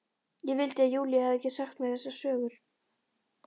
Ég vildi að Júlía hefði ekki sagt mér þessar sögur.